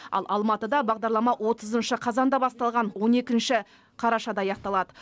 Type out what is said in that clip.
ал алматыда бағдарлама отызыншы қазанда басталған он екінші қарашада аяқталады